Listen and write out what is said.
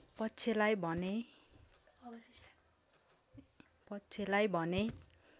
पक्षलाई भने